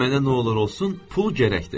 Mənə nə olur olsun pul gərəkdir.